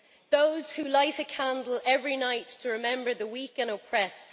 those who light a candle every night to remember the weak and oppressed.